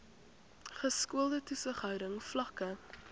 geskoolde toesighouding vlakke